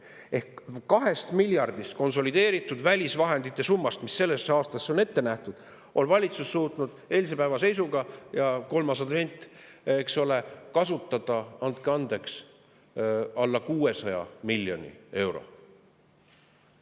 Ehk 2 miljardist konsolideeritud välisvahendite summast, mis selleks aastaks on ette nähtud, on valitsus suutnud eilse päeva seisuga – kolmas advent, eks ole – kasutada, andke andeks, alla 600 miljoni euro.